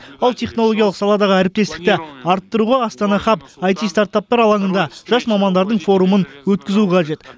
ал технологиялық саладағы әріптестікті арттыруға астана хаб айти стартаптар алаңында жас мамандардың форумын өткізу қажет